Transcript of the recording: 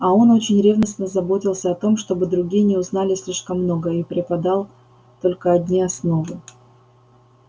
а он очень ревностно заботился о том чтобы другие не узнали слишком много и преподал только одни основы